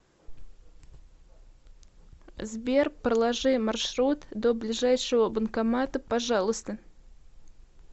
сбер проложи маршрут до ближайшего банкомата пожалуйста